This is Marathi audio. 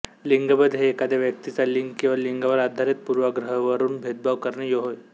लिंगभेद हे एखाद्या व्यक्तीचा लिंग किंवा लिंगावर आधारित पूर्वाग्रहवरुन भेदभाव करणे होय